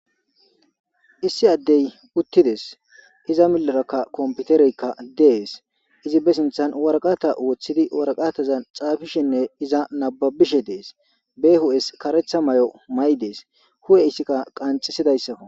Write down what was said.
Issi adey utides iza mileraka kopiteryka des izi be sinthan waraqata wothidinne waqatazan xafishen iza nababishe des be hu'es karetha mayo mayi des hu'e ithika qaxiszaysako